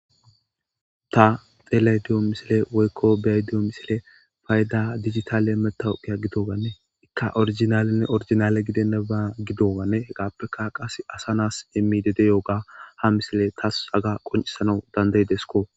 Ta xelediyo misile woykko beay diyo misile fayda digitale metawuqiya gidowanne ikka orijinalenne orijinale gidennaba gidoowanne hegappeka qas asa nas emmidedeyooga ha misile taas aga qoncisana dandaydesko.